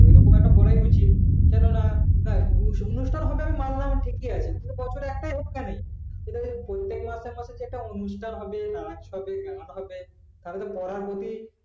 ওরকম একদম বলা উচিত কেননা দেখ অনুষ্ঠান হবে আমি মানলাম ঠিকই আছে কিন্তু বছরে একটাই হোক কেন সেটা যদি প্রত্যেক মাসে মধ্যে যদি অনুষ্ঠান হবে নাচ হবে গান হবে তাহলে তো পড়ার প্রতি